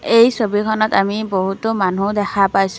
এই ছবিখনত আমি বহুতো মানুহ দেখা পাইছোঁ।